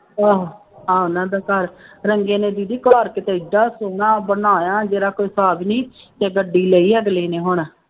ਆਹ ਉਹਨਾ ਦਾ ਘਰ ਰੰਗੇ ਨੇ ਦੀਦੀ ਘਰ ਕਿਤੇ ਐਡਾ ਸੋਹਣਾ ਬਣਾਇਆ ਜਿਹਦਾ ਕੋਈ ਹਿਸਾਬ ਨਹੀਂ ਅਤੇ ਗੱਡੀ ਲਈ ਅਗਲੇ ਨੇ ਹੁਣ